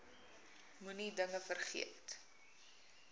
moenie dinge vergeet